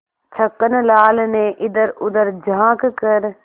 छक्कन लाल ने इधरउधर झॉँक कर